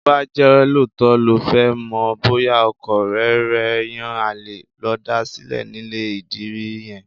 Bó bá jẹ́ lóòótọ́ lo fẹ́ mọ̀ bóyá ọkọ ọ̀rẹ́ rẹ̀ ń yan àlè, lọ da sílẹ̀ nílé ìdìrí yẹn.